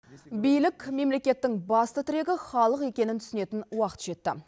билік мемлекеттің басты тірегі халық екенін түсінетін уақыт жетті